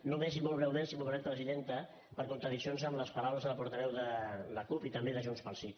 només i molt breument si m’ho permet presidenta per contradiccions amb les paraules de la portaveu de la cup i també de junts pel sí